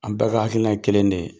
An bɛɛ ka hakilinan ye kelen de ye.